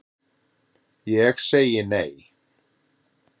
Ég segi nei,